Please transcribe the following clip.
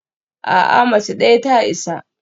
A'a, mace ɗaya ta isa